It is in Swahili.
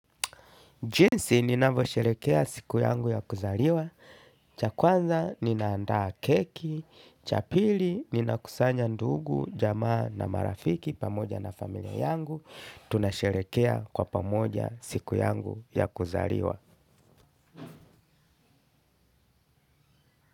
Jinsi ninavosherekea siku yangu ya kuzaliwa, cha kwanza ninaandaa keki, cha pili ninakusanya ndugu, jamaa na marafiki pamoja na familia yangu, tunasherekea kwa pamoja siku yangu ya kuzaliwa.